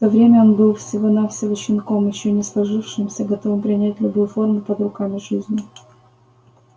в то время он был всего навсего щенком ещё не сложившимся готовым принять любую форму под руками жизни